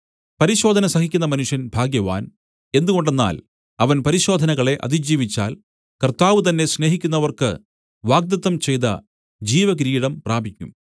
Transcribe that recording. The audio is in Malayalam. പരിശോധന സഹിക്കുന്ന മനുഷ്യൻ ഭാഗ്യവാൻ എന്തുകൊണ്ടെന്നാൽ അവൻ പരിശോധനകളെ അതിജീവിച്ചാൽ കർത്താവ് തന്നെ സ്നേഹിക്കുന്നവർക്ക് വാഗ്ദത്തം ചെയ്ത ജീവകിരീടം പ്രാപിക്കും